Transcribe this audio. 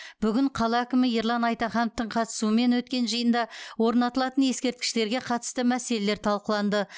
бүгін қала әкімі ерлан айтахановтың қатысуымен өткен жиында орнатылатын ескерткіштерге қатысты мәселелер талқыланды